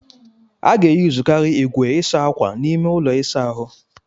A ga-eyuzukari igwe ịsa akwa n'ime ụlọ ịsa ahu.